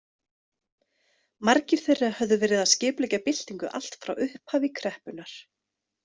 Margir þeirra höfðu verið að skipuleggja byltingu allt frá upphafi kreppunnar.